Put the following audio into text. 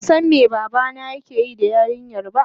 bansan me babana yakeyi da yarinyar ba.